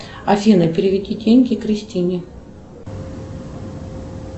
афина переведи деньги кристине